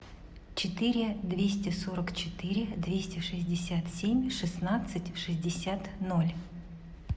четыре двести сорок четыре двести шестьдесят семь шестнадцать шестьдесят ноль